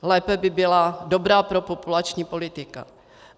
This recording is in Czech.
Lépe by byla dobrá propopulační politika.